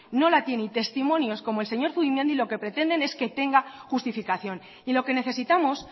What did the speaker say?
no la tiene y testimonios como el señor zubimendi lo que pretenden es que tenga justificación y lo que necesitamos